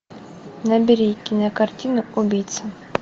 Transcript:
набери кинокартина убийца